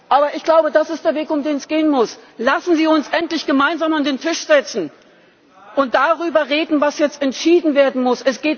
Aber ich glaube, das ist der Weg, um den es gehen muss Lassen Sie uns uns endlich gemeinsam an den Tisch setzen und darüber reden, was jetzt entschieden werden muss.